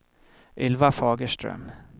Ylva Fagerström